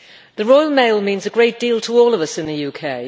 The Royal Mail means a great deal to all of us in the UK.